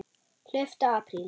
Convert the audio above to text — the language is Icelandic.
Hlauptu apríl.